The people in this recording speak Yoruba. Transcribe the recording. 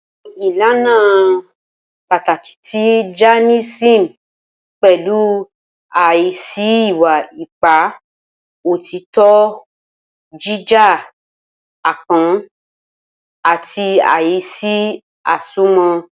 Awọn ilana pataki ti Jainism pẹlu aisi iwa-ipa, otitọ, jija, apọn, ati aisi asomọ.